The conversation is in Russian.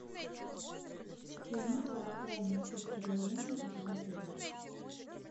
хочу узнать про актуальные спецпредложения этого отеля